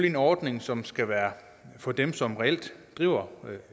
en ordning som skal være for dem som reelt driver